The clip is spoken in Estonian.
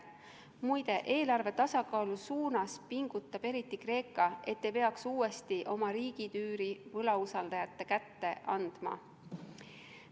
Muide, eelarve tasakaalu suunas pingutab eriti Kreeka, et ei peaks uuesti oma riigitüüri võlausaldajate kätte andma.